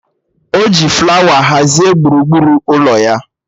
O ji flawa hazie gburugburu ụlọ ya?